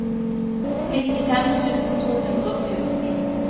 nittifem tusen to hundre og fjorten